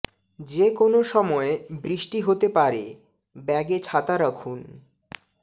যে কোনো সময় বৃষ্টি হতে পারে ব্যাগে ছাতা রাখুন